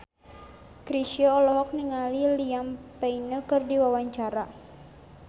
Chrisye olohok ningali Liam Payne keur diwawancara